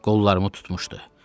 Qollarımı tutmuşdu.